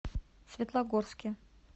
светлогорске